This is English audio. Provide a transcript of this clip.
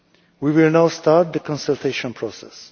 We will now start the consultation process.